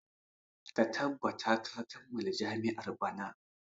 Ka tabbata ka kammala jami'a bana!